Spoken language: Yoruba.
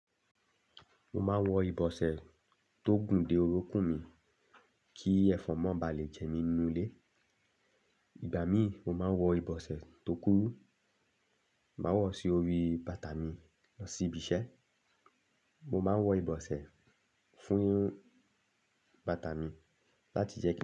Mo máa ń wọ ìbọsẹ̀ tó gùn dé orokún mi kí ẹ̀fọn mọ́ ba le jẹ mí nínú ilé. Igbà míì mo máa ń wọ ìbọsẹ̀ tó kúrú, màá wọ̀ sí orí bàtà mi lọ sí ibi iṣẹ́. Mo máa ń wọ ìbọsẹ̀ fún irun bàtà mi láti jẹ́ kí.